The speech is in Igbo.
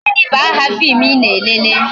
Gịnị bụ aha fim I na-elele?